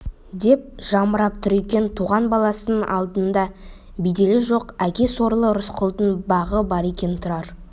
деп жамырап тұр екен туған баласының алдында беделі жоқ әке сорлы рысқұлдың бағы бар екен тұрар